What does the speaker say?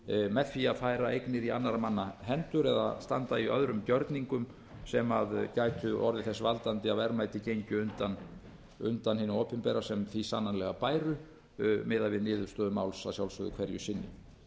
með því að færa eignir í annarra manna hendur eða standa í öðrum gjörningum sem gætu orðið þess valdandi að verðmæti gengju undan hinu opinbera sem því sannarlega bæru miðað við niðurstöðu máls að sjálfsögðu hverju sinni